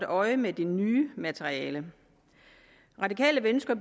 øje med det nye materiale radikale venstre